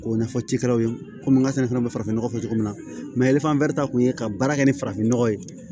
K'o ɲɛfɔ cikɛlaw ye komi n ka sɛnɛ fana bɛ farafin nɔgɔ kɛ cogo min na ɛlifɛri kun ye ka baara kɛ ni farafinnɔgɔ ye